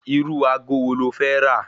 Irú ago wo lo fẹ́ rà?